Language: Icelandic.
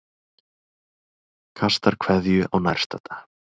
Kastar kveðju á nærstadda.